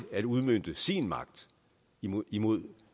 at udmønte sin magt imod imod